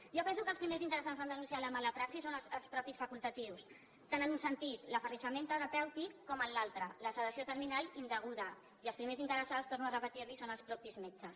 jo penso que el primers interessats a denunciar la mala praxi són els mateixos facultatius tant en un sentit l’aferrissament terapèutic com en l’altre la sedació terminal indeguda i els primers interessats torno a repetir li ho són els mateixos metges